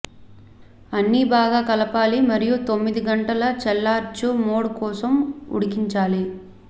అన్ని బాగా కలపాలి మరియు తొమ్మిది గంటలు చల్లార్చు మోడ్ కోసం ఉడికించాలి